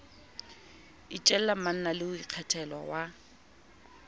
itjella manna le ikgethela wa